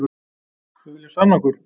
Við viljum sanna okkur